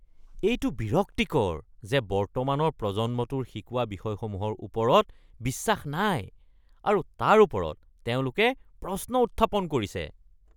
এইটো বিৰক্তিকৰ যে বৰ্তমানৰ প্ৰজন্মটোৰ শিকোৱা বিষয়সমূহৰ ওপৰত বিশ্বাস নাই আৰু তাৰ ওপৰত তেওঁলোকে প্ৰশ্ন উত্থাপন কৰিছে।